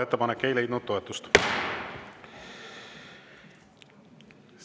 Ettepanek ei leidnud toetust.